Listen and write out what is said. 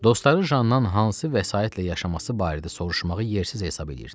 Dostları Janndan hansı vəsaitlə yaşaması barədə soruşmağı yersiz hesab edirdilər.